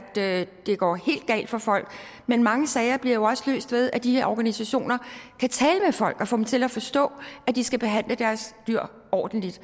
det går helt galt for folk men mange sager bliver jo også løst ved at de her organisationer kan tale med folk og få dem til at forstå at de skal behandle deres dyr ordentligt